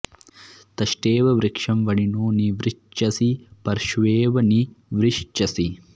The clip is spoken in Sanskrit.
तष्टे॑व वृ॒क्षं व॒निनो॒ नि वृ॑श्चसि पर॒श्वेव॒ नि वृ॑श्चसि